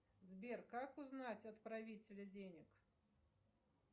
сбер как узнать отправителя денег